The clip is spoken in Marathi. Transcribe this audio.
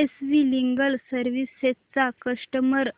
एस वी लीगल सर्विसेस चा कस्टमर